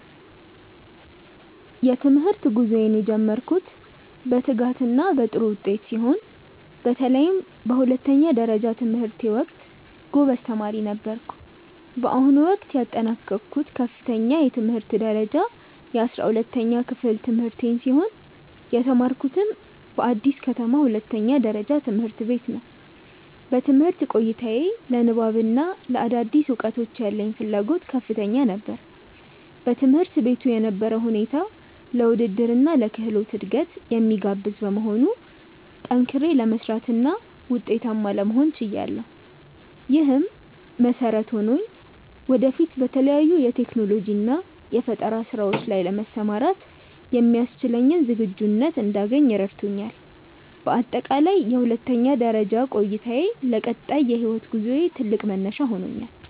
የትምህርት ጉዞዬን የጀመርኩት በትጋትና በጥሩ ውጤት ሲሆን፣ በተለይም በሁለተኛ ደረጃ ትምህርቴ ወቅት ጎበዝ ተማሪ ነበርኩ። በአሁኑ ወቅት ያጠናቀቅኩት ከፍተኛ የትምህርት ደረጃ የ12ኛ ክፍል ትምህርቴን ሲሆን፣ የተማርኩትም በአዲስ ከተማ ሁለተኛ ደረጃ ትምህርት ቤት ነው። በትምህርት ቆይታዬ ለንባብና ለአዳዲስ እውቀቶች ያለኝ ፍላጎት ከፍተኛ ነበር። በትምህርት ቤቱ የነበረው ሁኔታ ለውድድርና ለክህሎት እድገት የሚጋብዝ በመሆኑ፣ ጠንክሬ ለመስራትና ውጤታማ ለመሆን ችያለሁ። ይህም መሰረት ሆኖኝ ወደፊት በተለያዩ የቴክኖሎጂና የፈጠራ ስራዎች ላይ ለመሰማራት የሚያስችለኝን ዝግጁነት እንዳገኝ ረድቶኛል። በአጠቃላይ የሁለተኛ ደረጃ ቆይታዬ ለቀጣይ የህይወት ጉዞዬ ትልቅ መነሻ ሆኖኛል።